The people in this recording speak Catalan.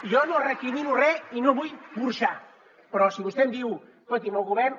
jo no recrimino re i no vull burxar però si vostè em diu escolti’m el govern